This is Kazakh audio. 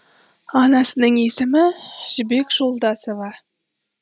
анасының есімі жібек жолдасова